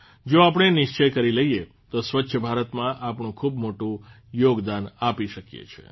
જો આપણે નિશ્ચય કરી લઇએ તો સ્વચ્છ ભારતમાં આપણું ખૂબ મોટું યોગદાન આપી શકીએ છીએ